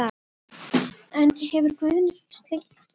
En hefur Guðni fylgst lengi með kvennaknattspyrnu?